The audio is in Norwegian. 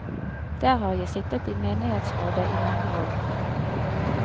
Der har jeg sittet i menighetsrådet i mange år.